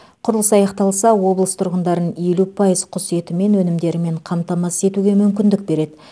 құрылыс аяқталса облыс тұрғындарын елу пайыз құс еті мен өнімдерімен қамтамасыз етуге мүмкіндік береді